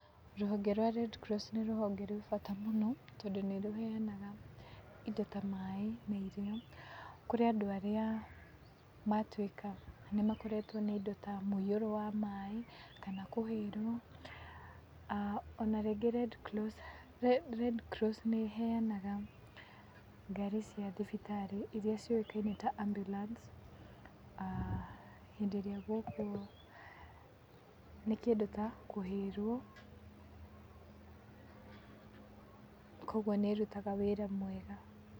Rũhonge rwa Red Cross nĩ rũhonge rwĩ bata mũno tondũ nĩ rũheyanaga indo ta, maaĩ na irio kũrĩ andũ arĩa maatuĩka nĩ makoretwo nĩ indo ta, mũiyũro wa maaĩ kana kũhĩrwo. O na rĩngĩ Red Cross, Red Cross nĩ ĩheyanaga ngari cia thibitarĩ iria ciũĩkaine ta ambulance hĩndĩ ĩrĩa gwokwo nĩ kĩndũ ta kũhĩrwo. Kwoguo nĩ ĩrutaga wĩra mwega.